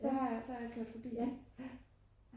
så har jeg kørt forbi der